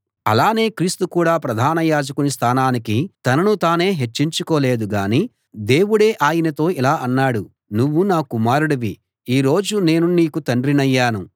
అలానే క్రీస్తు కూడా ప్రధాన యాజకుని స్థానానికి తనను తానే హెచ్చించుకోలేదు గానీ దేవుడే ఆయనతో ఇలా అన్నాడు నువ్వు నా కుమారుడివి ఈ రోజు నేను నీకు తండ్రినయ్యాను